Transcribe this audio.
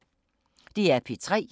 DR P3